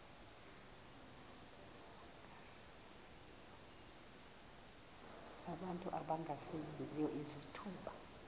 abantu abangasebenziyo izithuba